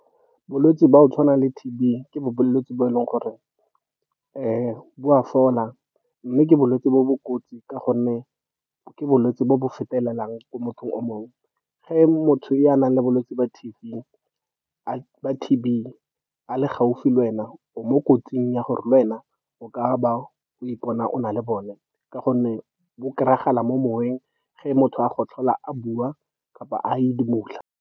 Bolwetse ba go tshwana le T_B ke bolwetse bo e leng gore bo a fola, mme ke bolwetse jo bo kotsi ka gonne ke bolwetse jo bo fetelelang ko mothong o mongwe. Motho yo o nang le bolwetse ba T_B a le gaufi le wena, o mo kotsing ya gore le wena o ka ba o ipona o na le bone, ka gonne bo kry-agala mo moweng ge motho a gotlhola, a bua, kapa a edimola.